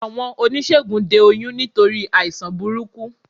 Àwọn oníṣègùn de oyún nítorí àìsàn burúkú